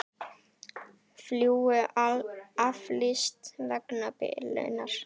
Flugi aflýst vegna bilunar